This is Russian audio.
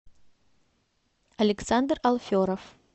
александр алферов